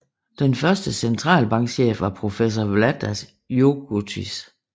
Den første centralbankchef var professor Vladas Jurgutis